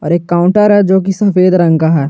एक काउंटर है जो की सफेद रंग का है।